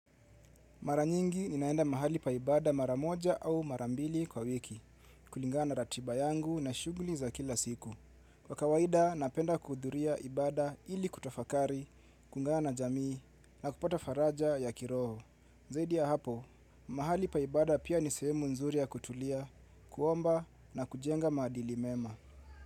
Mara nyingi ninaenda mahali paibada mara moja au mara mbili kwa wiki, kulingana ratiba yangu na shughuli za kila siku. Kwa kawaida, napenda kuhudhuria ibada ili kutafakari, kuungana na jamii na kupata faraja ya kiroho. Zaidi ya hapo, mahali paibada pia ni sehemu nzuri ya kutulia, kuomba na kujenga maadili mema.